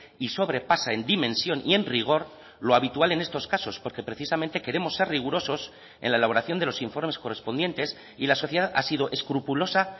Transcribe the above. y sobrepasa en dimensión y en rigor lo habitual en estos casos porque precisamente queremos ser rigurosos en la elaboración de los informes correspondientes y la sociedad ha sido escrupulosa